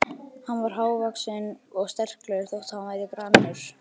Hann var hávaxinn og sterklegur þótt hann væri grannur.